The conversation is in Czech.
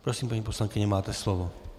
Prosím, paní poslankyně, máte slovo.